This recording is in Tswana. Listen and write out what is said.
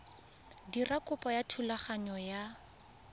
dira kopo ya thulaganyo ya